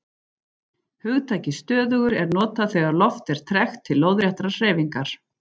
Hugtakið stöðugur er notað þegar loft er tregt til lóðréttrar hreyfingar.